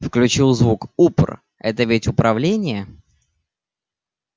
включил звук упр это ведь управление